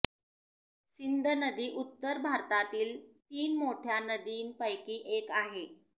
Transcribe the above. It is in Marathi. सिंध नदी उत्तर भारतातील तीन मोठ्या नदींपैकी एक आहे